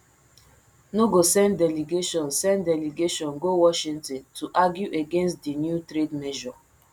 no go send delegation send delegation go washington to argue against di new trade measure